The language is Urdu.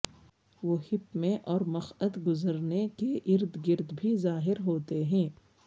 وہ ہپ میں اور مقعد گزرنے کے ارد گرد بھی ظاہر ہوتے ہیں